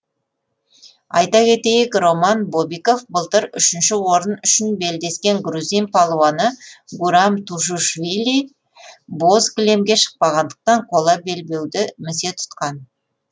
айта кетейік роман бобиков былтыр үшінші орын үшін белдескен грузин палуаны гурам тушишвили боз кілемге шықпағандықтан қола белбеуді місе тұтқан